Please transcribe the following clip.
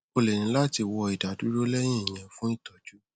o lè ní láti wọ ìdádúró lẹyìn ìyẹn fún ìtọjú